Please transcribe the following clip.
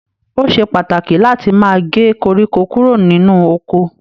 Ó ṣe pàtàkì láti máa gé koríko kúrò nínú oko.